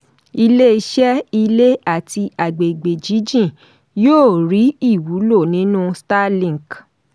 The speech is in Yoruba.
iléeṣẹ́ ilé àti àgbègbè jíjìn yóò rí ìwúlò nínú starlink